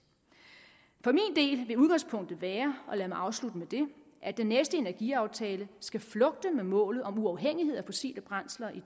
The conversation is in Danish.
for min del vil udgangspunktet være og lad mig afslutte med det at den næste energiaftale skal flugte med målet om uafhængighed af fossile brændsler i